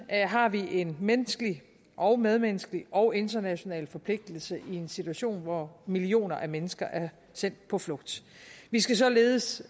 har vi en menneskelig og medmenneskelig og international forpligtelse i en situation hvor millioner af mennesker er sendt på flugt vi skal således